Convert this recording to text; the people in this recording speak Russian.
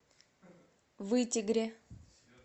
вытегре